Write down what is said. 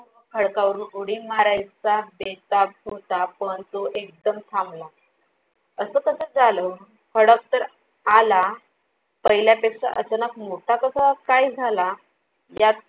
खडकावर उडी मारायचा बेतात होता पण तो एकदम थांबला. असं कसं झालं? खडक तर आला. पहिल्या पेक्षा अचानक मोठा कसा काय झाला यात